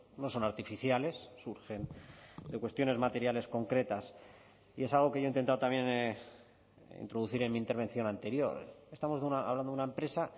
no son artificiales surgen de cuestiones materiales concretas y es algo que yo he intentado también introducir en mi intervención anterior estamos hablando de una empresa